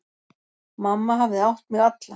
Mamma hafði átt mig alla.